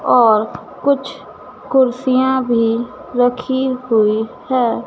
और कुछ कुर्सियों भी रखी हुई है।